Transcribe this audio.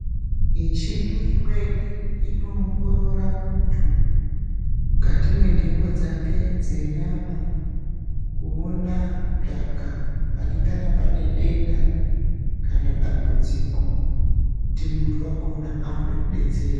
Michini imweni inoongorora muntu mukati mwentengo dzake dzenyama kuona, kutsvaka panengana pane denda kana dambudziko kuti muntu wakhona aone kudetserwa